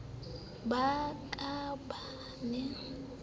ba ka ba ne ba